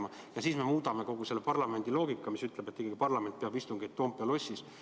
Kas me siis muudame kogu seda parlamendi loogikat, mis ütleb, et parlament peab istungeid Toompea lossis?